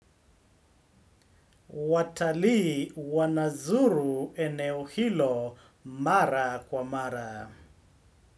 Watalii wanazuru eneo hilo mara kwa mara.